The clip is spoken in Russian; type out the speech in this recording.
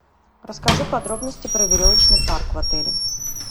расскажи подробности про веревочный парк в отеле